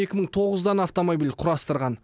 екі мың тоғыз дана автомобиль құрастырған